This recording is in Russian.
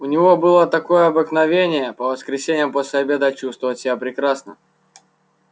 у него было такое обыкновение по воскресеньям после обеда чувствовать себя прекрасно